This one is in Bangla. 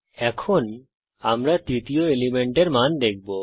এখন আমরা তৃতীয় এলিমেন্টের মান দেখব